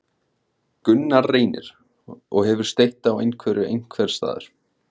Gunnar Reynir: Og hefur steytt á einhverju einhvers staðar?